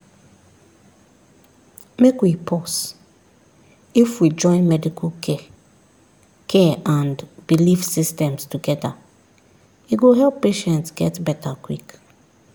make we pause if we join medical care care and belief systems together e go help patients get better quick.